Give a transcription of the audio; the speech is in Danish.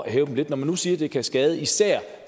at hæve dem lidt når man nu siger at det kan skade især